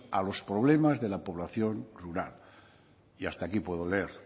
a los problemas de la población rural y hasta aquí puedo leer